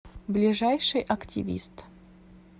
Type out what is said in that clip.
ближайший активист